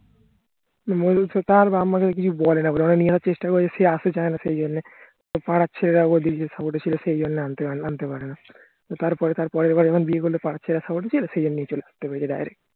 মনিষার তার বাপ্ মা কিছু বলেনা ওরা নিয়ে আসার চেষ্টা করেছিল সে আস্তে চাইনা সেইজন্যে পাড়ার ছেলেরা ওর দিকে support এ ছিল সেই জন্য আন্তে পারেনি তার পরে তার পরের বার যখন বিয়ে করলো পাড়ার ছেলেরা support ছিল সেইজন্যে নিয়ে চলে আস্তে পেরেছে direct